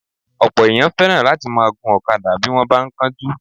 Ọ̀pọ̀ èèyàn fẹ́ràn láti máa gun ọ̀kadà bí wọ́n bá ń kánjú